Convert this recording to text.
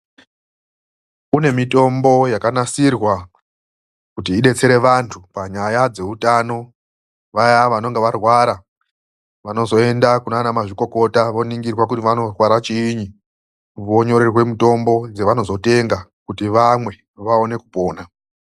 KUNE MITOMBO YAKANASIRWA KUTI IBETSERE ANTU PANYAYA DZEUTANO, VAYA VANENGE VARWARA VANOZOENDA KUNA MAZVIKOKOTA, VONINGIRWA KUTIVANORWARA CHIINI, KUTI VAONE KUPONA.